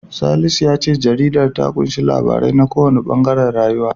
Salisu ya ce jaridar ta ƙunshi labarai na kowanne ɓangaren rayuwa.